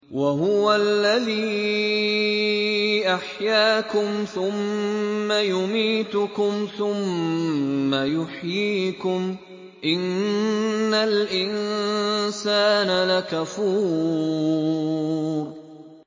وَهُوَ الَّذِي أَحْيَاكُمْ ثُمَّ يُمِيتُكُمْ ثُمَّ يُحْيِيكُمْ ۗ إِنَّ الْإِنسَانَ لَكَفُورٌ